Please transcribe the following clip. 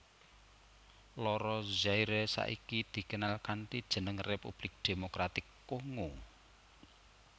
Loro Zaire saiki dikenal kanthi jeneng Republik Demokratik Kongo